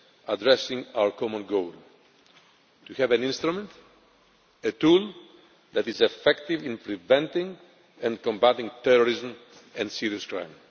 addressing our common goal to have an instrument, a tool, that is effective in preventing and combating terrorism and serious crime.